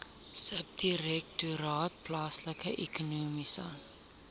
subdirektoraat plaaslike ekonomiese